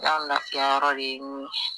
Yan yɔrɔ de ye